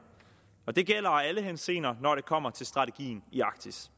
og det gælder i alle henseender når det kommer til strategien i arktis